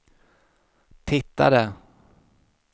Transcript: tittade